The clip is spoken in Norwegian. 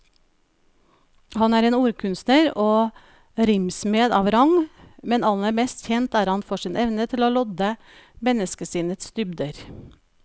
Han er en ordkunstner og rimsmed av rang, men aller mest kjent er han for sin evne til å lodde menneskesinnets dybder.